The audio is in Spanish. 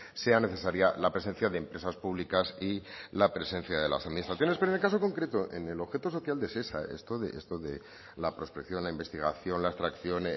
sea necesaria la presencia de empresas públicas y la presencia de las administraciones pero en el caso concreto en el objeto social de shesa esto de la prospección la investigación la extracción